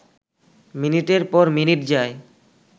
মিনিটের পর মিনিট যায়